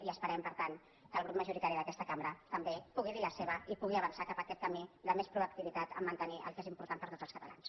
i esperem per tant que el grup majoritari d’aquesta cambra tam·bé hi pugui dir la seva i pugui avançar cap a aquest camí de més proactivitat en mantenir el que és impor·tant per a tots els catalans